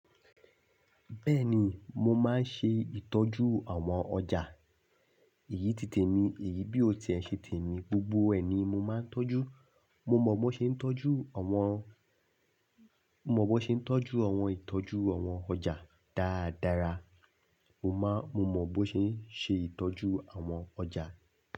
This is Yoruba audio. Bẹ́ẹ̀ni, mo máa ń ṣe ìtọ́jú àwọn ọjà. Èyí ti tèmi, èyí bí o ti ẹ ṣe tèmi, gbogbo ẹ̀ ni mo máa ń tọ́jú. Mo mọ bó ṣe ń tọ́jú àwọn, mo mọ bó ṣe ń tọ́jú àwọn ìtọ́jú àwọn ọjà dáradára. Mo máa, mo mọ bó ṣe ń ṣe ìtọ́jú àwọn ọjà.